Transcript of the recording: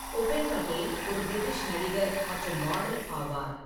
உபென் படேல் ஒரு பிரிட்டிஷ் நடிகர் மற்றும் மாடல் ஆவார்.